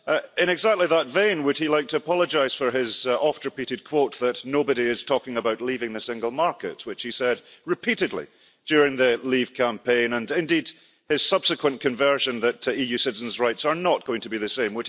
In exactly that vein, would he like to apologise for his oft repeated quote that nobody is talking about leaving the single market', which he said repeatedly during the Leave campaign, and indeed his subsequent conversion to the view that EU citizens' rights are not going to be the same?